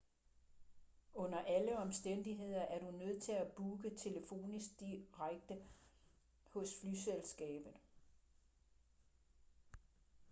under alle omstændigheder er du nødt til at booke telefonisk direkte hos flyselskabet